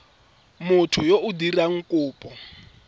motho yo o dirang kopo